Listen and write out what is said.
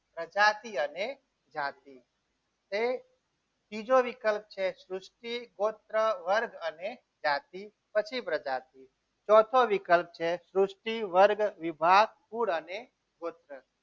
જાતિ અને જાતિ તે ત્રીજો વિકલ્પ છે સૃષ્ટિ ગોત્ર વર્ગ અને જાતિ પછી પ્રજા પ્રજાતિ ચોથો વિકલ્પ છે સૃષ્ટિ વર્ગ વિભાગ કુળ અને ગોત્ર